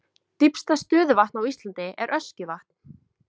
Dýpsta stöðuvatn á Íslandi er Öskjuvatn.